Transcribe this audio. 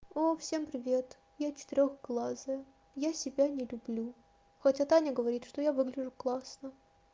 о всем привет я четырёхглазая я себя не люблю хотя таня говорит что я выгляжу классно